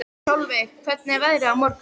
Solveig, hvernig er veðrið á morgun?